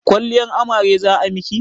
Kwalliyar amare za a miki?